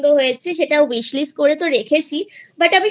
খুব পছন্দ হয়েছে সেটা Wishlist করে তো রেখেছি But আমি